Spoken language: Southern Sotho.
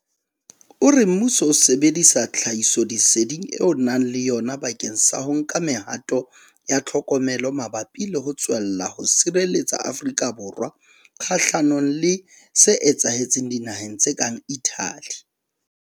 O re mmuso o sebedisa tlhahisoleseding eo o nang le yona bakeng sa ho nka me-hato ya tlhokomelo mabapi le ho tswella ho sireletsa Afrika Borwa kgahlanong le se etsahetseng dinaheng tse kang Italy.